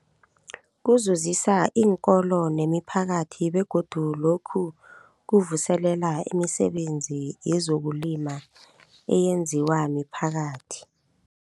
Kuzuzisa iinkolo nemiphakathi begodu lokhu kuvuselela imisebenzi yezokulima eyenziwa miphakathi.